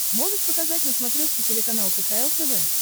можешь показать на смотрешке телеканал кхл тв